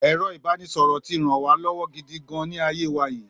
Èro ìbánisọ̀rọ̀ tí rán wa lọ́wọ́ gidi gan-an ni ayé wa yìí